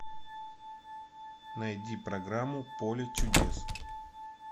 найди программу поле чудес